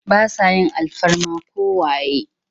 Ba sa yin alfarma ko waye.